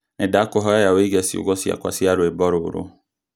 Nĩndakũhoya ũige ciugo ciakwa cia rwĩmbo rũrũ